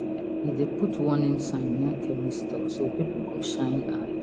he dey put warning sign near chemist store so people go shine eye